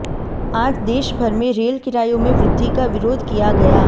आज देश भर में रेल किरायों में वृद्धि का विरोध किया गया